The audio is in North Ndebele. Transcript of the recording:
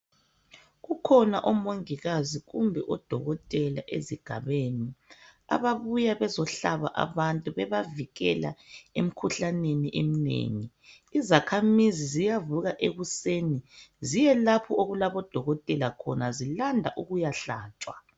Kukhona omongikazi kumbe oDokotela ezigabeni ababuya bezohlaba abantu bebavikela emkhuhlaneni eminengi. Izakhamizi ziyavuka ekuseni ziyelapho okulabo dokotela khona zilanda ukuyahlatshwa.